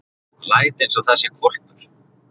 Læt einsog það sé hvolpur.